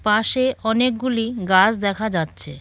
পাশে অনেকগুলি গাছ দেখা যাচ্ছে।